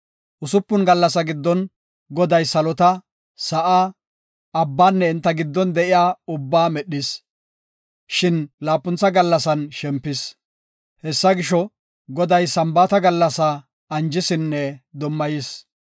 Usupun gallasa giddon Goday salota, sa7aa, abbanne enta giddon de7iya ubbaa medhis, shin laapuntha gallasan shempis. Hessa gisho, Goday Sambaata gallasaa anjisinne dummayis.